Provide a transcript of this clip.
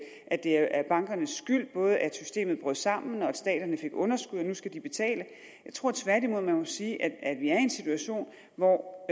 at det er bankernes skyld både at systemet brød sammen og at staterne fik underskud og nu skal de betale jeg tror tværtimod at man må sige at vi er en situation hvor